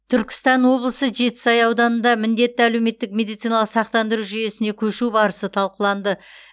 түркістан облысы жетісай ауданында міндетті әлеуметтік медициналық сақтандыру жүйесіне көшу барысы талқыланды